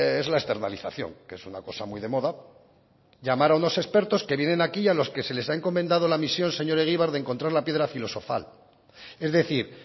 es la externalización que es una cosa muy de moda llamar a unos expertos que vienen aquí a los que se les ha encomendado la misión señor egibar de encontrar la piedra filosofal es decir